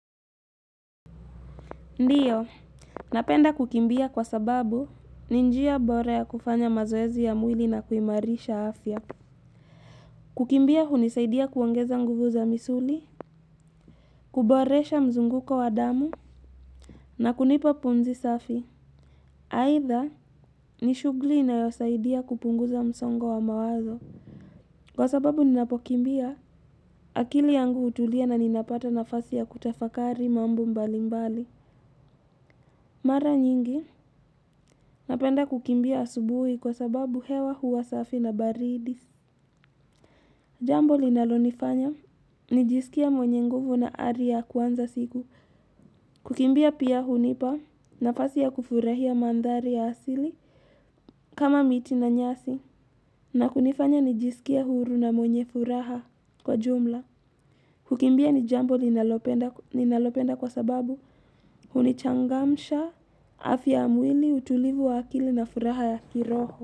Ndiyo, napenda kukimbia kwa sababu ni njia bore ya kufanya mazoezi ya mwili na kuimarisha afya. Kukimbia hunisaidia kuongeza nguvu za misuli, kuboresha mzunguko wa damu na kunipa pumzi safi. Haitha, ni shugli inayosaidia kupunguza msongo wa mawazo. Kwa sababu ninapokimbia akili yangu hutulia na ninapata nafasi ya kutafakari mambo mbali mbali. Mara nyingi, napenda kukimbia asubuhi kwa sababu hewa huwa safi na baridi. Jambo linalonifanya, nijisikie mwenye nguvu na ari ya kuanza siku. Kukimbia pia hunipa, nafasi ya kufurahia mandhari ya asili kama miti na nyasi. Na kunifanya, nijisikie huru na mwenye furaha kwa jumla. Kukimbia ni jambo ninalopenda kwa sababu hunichangamsha afya ya mwili utulivu wa akili na furaha ya kiroho.